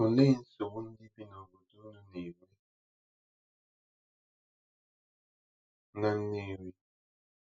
Olee nsogbu ndị bi n’obodo unu na-enwe na Nnewi?